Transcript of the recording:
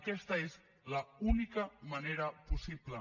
aquesta és l’única manera possible